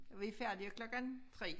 Vi færdige klokken 3